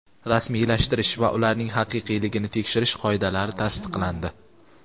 rasmiylashtirish va ularning haqiqiyligini tekshirish qoidalari tasdiqlandi.